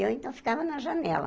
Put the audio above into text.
E eu, então, ficava na janela.